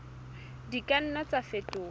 di ka nna tsa fetoha